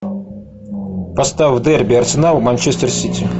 поставь дерби арсенал манчестер сити